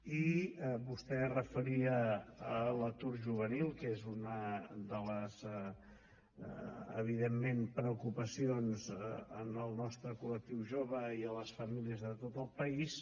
i vostè es referia a l’atur juvenil que és una de les evidentment preocupacions en el nostre col·lectiu jove i en les famílies de tot el país